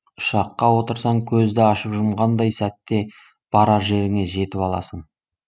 ұшаққа отырсаң көзді ашып жұмғандай сәтте барар жеріңе жетіп аласың